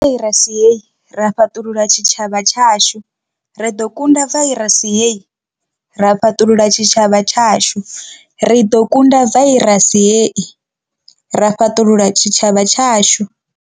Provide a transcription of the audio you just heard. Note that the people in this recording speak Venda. Ri ḓo kunda vairasi hei ra fhaṱulula tshitshavha tshashu. Ri ḓo kunda vairasi hei ra fhaṱulula tshitshavha tshashu. Ri ḓo kunda vairasi hei ra fhaṱulula tshitshavha tshashu.